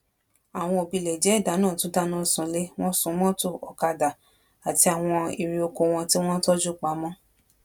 àwọn obilẹjẹ ẹdà náà tún dáná sunlé wọn sun mọtò ọkadà àti àwọn irè oko wọn tí wọn tọjú pamọ